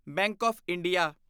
bank of India